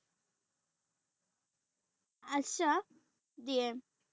আশ্বাস দিয়ে।